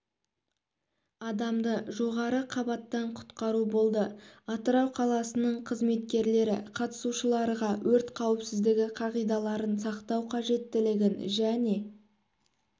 адамды жоғарғы қабаттан құтқару болды атырау қаласының қызметкерлері қатысушыларға өрт қауіпсіздігі қағидаларын сақтау қажеттілігін және